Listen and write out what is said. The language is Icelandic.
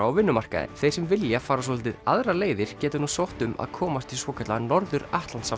á vinnumarkaðinn þeir sem vilja fara svolítið aðrar leiðir geta nú sótt um að komast í svokallaðan Norður